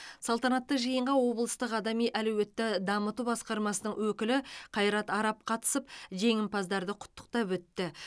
салтанатты жиынға облыстық адами әлеуетті дамыту басқармасының өкілі қайрат арап қатысып жеңімпаздарды құттықтап өтті